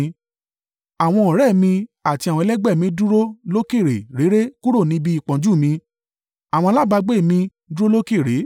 Àwọn ọ̀rẹ́ mi àti àwọn ẹlẹgbẹ́ mi dúró lókèèrè réré kúrò níbi ìpọ́njú mi, àwọn alábágbé mi, dúró lókèèrè.